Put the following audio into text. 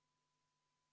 Lugupeetud kolleegid!